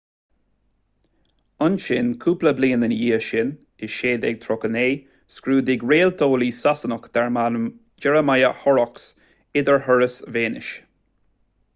ansin cúpla bliain ina dhiaidh sin i 1639 scrúdaigh réalteolaí sasanach darb ainm jeremiah horrocks idirthuras véineas